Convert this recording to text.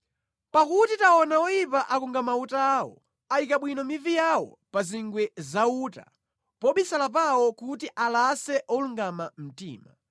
Pakuti taona oyipa akunga mauta awo; ayika bwino mivi yawo pa zingwe za uta, pobisala pawo kuti alase olungama mtima.